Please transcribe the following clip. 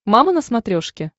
мама на смотрешке